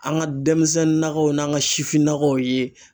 An ka denmisɛnnin nakaw n'an ka sifinnakaw ye